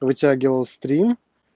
вытягивал стрим